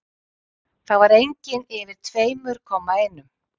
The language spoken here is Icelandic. Það var engin yfir tveimur-komma-einum.